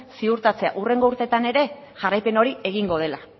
ziurtatzea hurrengo urteetan ere jarraipen hori egingo dela